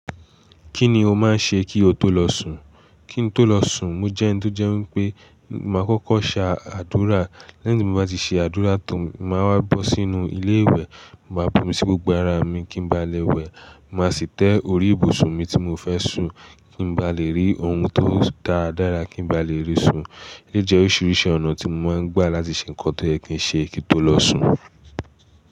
Kí ni o máa ń ṣe kí o tó lọ sùn? Kí n tó lọ sùn, mo jẹ́ eni to je wipé máa kọ́kọ́ ṣe àdúrà. Lẹ́yìn tí mo bá ti ṣe àdúrà tan, màá wá bọ́ sínú ilé ìwẹ̀, màá bu'mi sí gbogbo ara mi kí n ba lè wẹ̀. Màá sì tẹ́ orí ìbùsùn mi tí mo fẹ́ sùn kí n ba lè rí ohun tó dáadára kí n ba lè rí sùn. Ojẹ́ oríṣiríṣi ọ̀nà tí mo máa ń gbà láti ṣe ńkan tó yẹ̀ kín ṣe kí n tó lọ sùn.